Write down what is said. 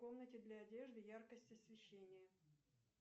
в комнате для одежды яркость освещения